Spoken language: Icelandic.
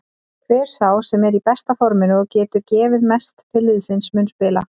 Hver sá sem er í besta forminu og getur gefið mest til liðsins mun spila.